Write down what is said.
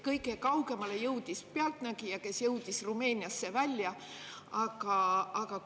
Kõige kaugemale jõudis "Pealtnägija", kes jõudis Rumeeniasse välja.